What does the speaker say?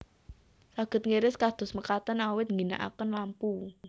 Saged ngiris kados mekaten awit ngginakaken lampu